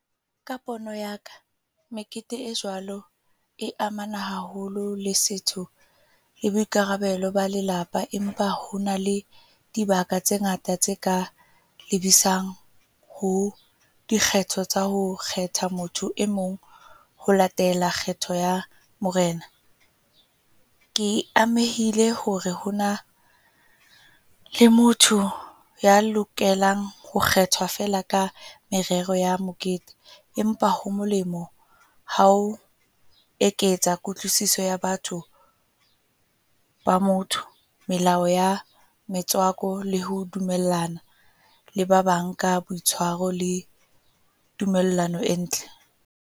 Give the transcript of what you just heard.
Ka pono ya ka. Mekete e jwalo e amana haholo le setho, le boikarabelo ba lelapa. Empa, hona le dibaka tse ngata tse ka lebisang ho dikgetho tsa ho kgetha motho e mong ho latela kgetho ya Morena. Ke amehile hore ho na le motho ya lokelang ho kgethwa feela ka merero ya mokete. Empa ho molemo, hao eketsa kutlwisiso ya batho ba motho. Melao ya metswako le ho dumellana le ba bang ka le tumellano e ntle.